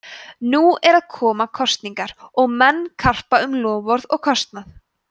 nú eru að koma kosningar og menn karpa um loforð og kostnað